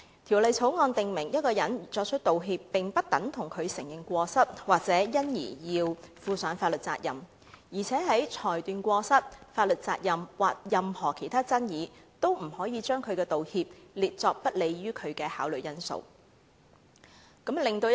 《條例草案》訂明，一個人作出道歉，並不等於他承認過失，或因而要負上法律責任；而且在裁斷過失、法律責任或任何其他爭議時，均不可把道歉列作不利於道歉人士的考慮因素。